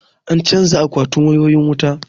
An canja akwatin wayoyin wuta